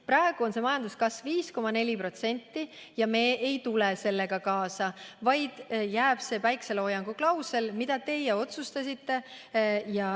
Praegu on majanduskasv 5,4%, aga me ei lähe selle kaasa, vaid kehtima jääb päikeseloojangu klausel, nagu teie otsustasite.